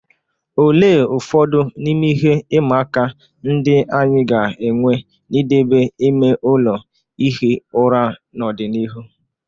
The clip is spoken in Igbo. Olee ụfọdụ n'ime ihe ịma aka ndị anyị ga-enwe n'idebe ime ụlọ ihi ụra n'ọdịnihu?